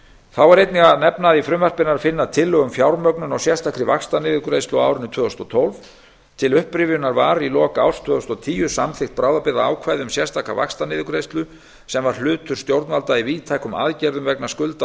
þá er einnig að nefna að í frumvarpinu er að finna tillögu um fjármögnun á sérstakri vaxtaniðurgreiðslu á árinu tvö þúsund og tólf til upprifjunar var í lok árs tvö þúsund og tíu samþykkt bráðabirgðaákvæði um sérstaka vaxtaniðurgreiðslu sem var hlutur stjórnvalda í víðtækum aðgerðum vegna skulda og